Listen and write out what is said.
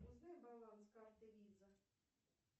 узнай баланс карты виза